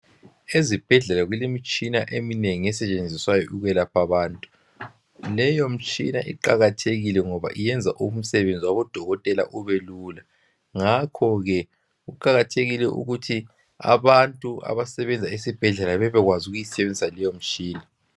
Ezibhedlela kulemitshina eminengi esetshenziswayo ukuyelapha abantu. Leyo mtshina iqakathekile ngoba iyenza umsebenzi wabodokotela ubelula ngakho ke kuqakathekile ukuthi abantu abasebenza esibhedlela bebekwazi ukuyisebenzisa leyo mtshina.